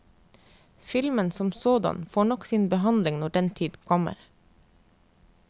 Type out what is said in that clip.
Filmen som sådan får nok sin behandling når den tid kommer.